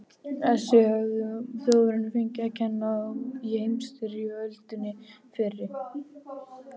Á þessu höfðu Þjóðverjar fengið að kenna í heimsstyrjöldinni fyrri.